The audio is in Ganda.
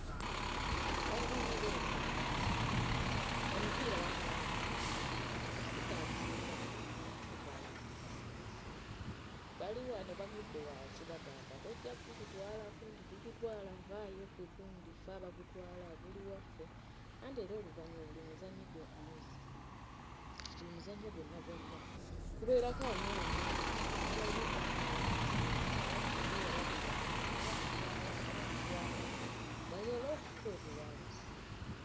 Abazannyi b'ensero bansanyula, omupiira bakaayanire mukaayanire, agusika agusinza amaanyi y'agutwala n'adduka wano emisinde, bali wano bagudde wansi bagamba tojja gututwalako, nti tugutwala, vvaayo gwe gundi ffe abagutwala guli waffe, anti era oluvannyuma buli muzannyi gwo no, buli muzannyo gwonna gwonna kubeerako ani awangudde kuba ayina okubaako abanaasinga na wano omupiira bagulwanira ani agutwala ani agutwala basobole okufuna omuwanguzi.